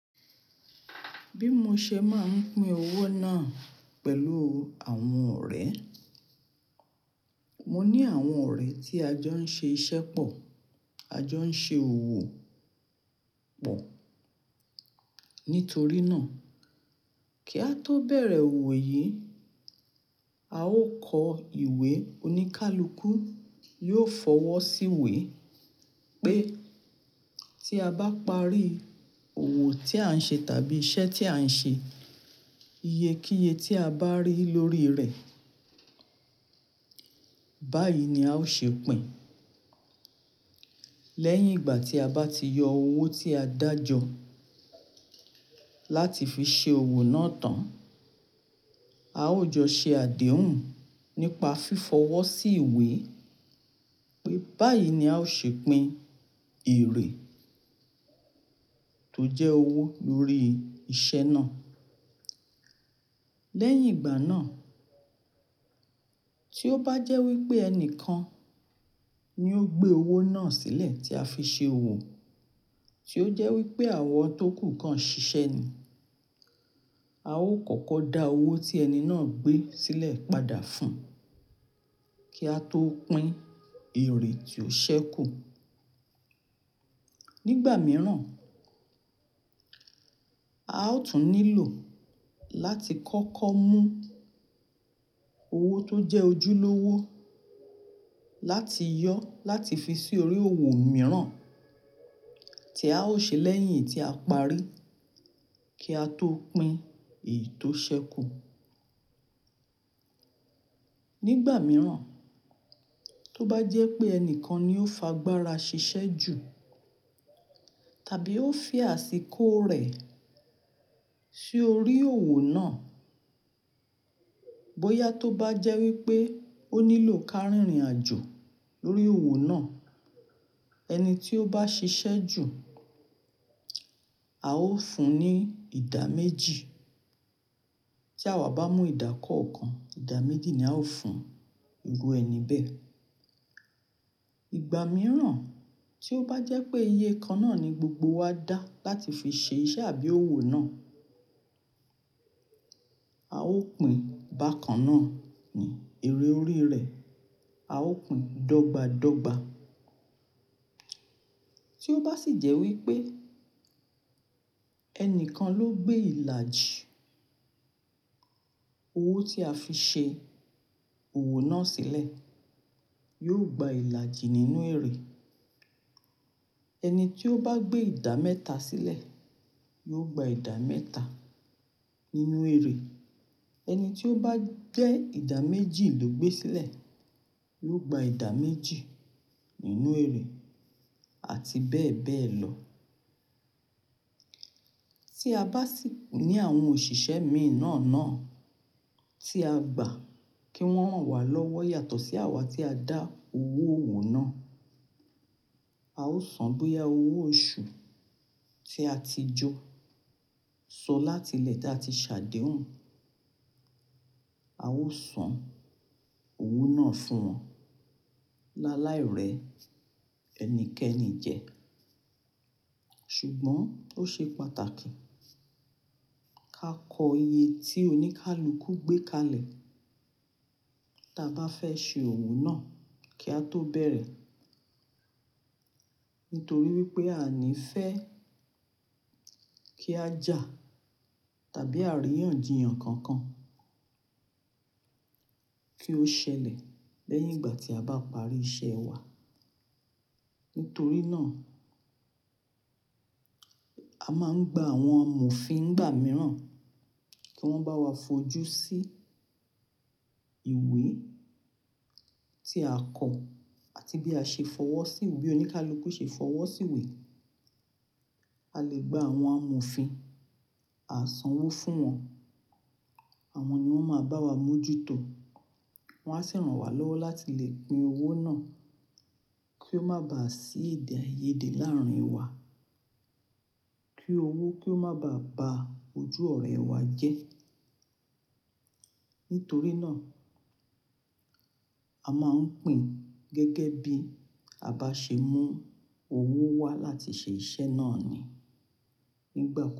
Bí mo ṣe máa ń pín owó náà pẹ̀lú àwọn ọ̀rẹ́. Mo ní àwọn ọ̀rẹ́ tí a jọ ń ṣe iṣẹ́ pọ̀, a jọ ń ṣe òwò pọ̀. Nítorí náà, kí a tó bẹ̀rẹ̀ òwò yìí, a ó kọ ìwé oníkálukú, yóò fọwọ́ sí ìwé pé tí a bá parí òwò tí à ń ṣe tàbí iṣẹ́ tí à ń ṣe, iye kí iye tí a bá rí lórí rẹ̀, báyìí ni a ó ṣe pín. Lẹ́yìn ìgbà tí a bá ti yọ owó tí a dájọ láti fi ṣe òwò náà tán, a ó jọ ṣe àdéhùn nípa fífọwọ́ sí ìwé pé báyìí ni a ó ṣe pín èrè tó jẹ́ owó lórí iṣẹ́ náà. Lẹ́yìn ìgbà náà, tí ó bá jẹ́ wípé ẹni kan ni ó gbé owó náà sílẹ̀ tí a fi ṣe òwò, tí ó jẹ́ wípé àwọn tó kù kan ṣiṣẹ́ ni, a ó kọ́kọ́ dá owó tí ẹni náà gbé sílẹ̀ padà fún, kí a tó pín èrè tí ó ṣẹ́kù. Nígbà mìíràn, a ó tún nílò láti kọ́kọ́ mú owó tó jẹ́ ojúlówó láti yọ láti fi sí orí òwò mìíràn tí a ó ṣe lẹ́yìn tí a parí kí a tó pín èyí tó ṣẹ́kù. Nígbà mìíràn, tó bá jẹ́ pé ẹni kan ni ó fa gbára ṣiṣẹ́ jù tàbí ó fì asíkò rẹ̀ sí orí òwò náà, bóyá tó bá jẹ́ wípé ó nílò kárìnrìn àjò lórí òwò náà, ẹni tí ó bá ṣiṣẹ́ jù, a ó fún un ní ìdá méjì. Tí àwa bá mú ìdá kọ̀ọ̀kan, ìdá méjì ni a ó fún ìru ẹni bẹ́ẹ̀. Ìgbà mìíràn tí ó bá jẹ́ pé iye kan náà ni gbogbo wa dá láti fi ṣe iṣẹ́ àbí òwò náà, a ó pín bákan náà ní èrè orí rẹ̀. A ó pín dọ́gba dọ́gba. Tí ó bá sì jẹ́ wípé ẹni kan ló gbé ìlàjì owó tí a fi ṣe òwò náà sílẹ̀, yóò gba ìlàjì nínú èrè. Ẹni tí ó bá gbé ìdá mẹ́ta sílẹ̀, yóò gba ìdá mẹ́ta nínú èrè. Ẹni tí ó bá jẹ́ ìdá méjì ló gbé sílẹ̀, yóò gba ìdá méjì nínú èrè àti bẹ́ẹ̀ bẹ́ẹ̀ lọ. Tí a bá sì ní àwọn òṣìṣẹ́ miì nà náà tí a gbà kí wọ́n ràn wá lọ́wọ́ yàtọ̀ sí àwa tí a dá owó òwò náà, a ó san bóyá owó oṣù tí a ti jó, so láti ilẹ̀ tí a ti ṣàdéhùn. A ó san owó náà fún wọn. Láláì rẹ ẹnikẹ́ni jẹ. Ṣùgbọ́n ó ṣe pàtàkì ká kọ iye tí oníkálukú gbé kalẹ̀ ta bá fẹ́ ṣe òwò náà kí a tó bẹ̀rẹ̀. Nítorí wípé a ní fẹ́ kí a jà tàbí àríyànjiyàn kankan kí ó ṣẹlẹ̀ lẹ́yìn ìgbà tí a bá parí iṣẹ́ wa. Nítorí náà, a máa ń gba àwọn amọ̀fin nìgbà mìíràn kí wọ́n bá wa fojú sí ìwé tí a kọ àti bí a ṣe fọwọ́ sí, bí oníkálukú ṣe fọwọ́ sí ìwé. A lè gba àwọn amọ̀fin, a san owó fún wọn. Àwọn ni wọ́n máa bá wa mójútọ̀. Wọn á sì ràn wá lọ́wọ́ láti lè pín owó náà kí ó má bà sí ìdè ayé dè láàárín wa. Kí owó, kí ó má bà ba ojú ọ̀rẹ́ wa jẹ́. Nítorí náà, a máa ń pín gẹ́gẹ́ bí a bá ṣe mú owó wá láti ṣe iṣẹ́ náà ni nígbà.